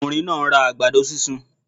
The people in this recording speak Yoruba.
Okùnrin náà nra àgbàdo sísun